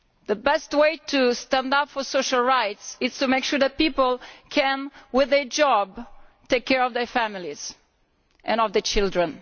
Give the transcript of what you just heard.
The best way to stand up for social rights is to make sure that people can, with a job, take care of their families and of their children.